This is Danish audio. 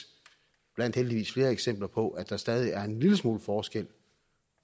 blandt heldigvis flere eksempler på at der stadig er en lille smule forskel